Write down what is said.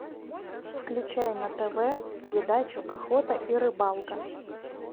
включай на тв передачу охота и рыбалка